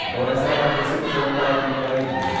Então essa era a concepção que estava por trás disso.